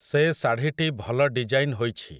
ସେ ଶାଢ଼ୀଟି ଭଲ ଡିଜ଼ାଇନ୍ ହୋଇଛି ।